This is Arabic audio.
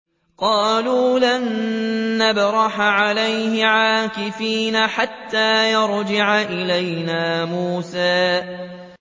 قَالُوا لَن نَّبْرَحَ عَلَيْهِ عَاكِفِينَ حَتَّىٰ يَرْجِعَ إِلَيْنَا مُوسَىٰ